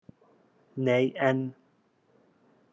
Nei en.